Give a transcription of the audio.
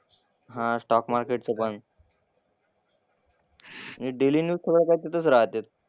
हां स्टॉक मार्केटचं पण. आणि डेली न्यूज थोडंफार तिथंच राहते.